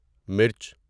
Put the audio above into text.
مرچ